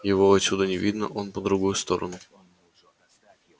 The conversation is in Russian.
его отсюда не видно он по другую сторону